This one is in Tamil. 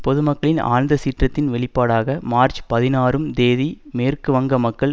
பொதுமக்களின் ஆழ்ந்த சீற்றத்தின் வெளிப்பாடாக மார்ச் பதினாறும் தேதி மேற்கு வங்க மக்கள்